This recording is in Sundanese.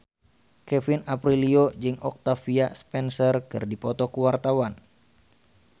Kevin Aprilio jeung Octavia Spencer keur dipoto ku wartawan